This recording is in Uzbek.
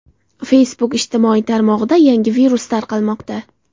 Facebook ijtimoiy tarmog‘ida yangi virus tarqalmoqda.